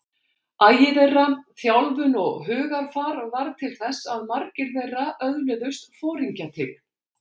Agi þeirra, þjálfun og hugarfar varð til þess að margir þeirra öðluðust foringjatign.